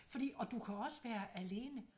Fordi og du kan også være alene